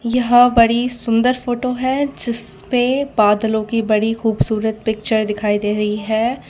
यह बड़ी सुंदर फोटो है जिसपे बादलों की बड़ी खूबसूरत पिक्चर दिखाई दे रही है।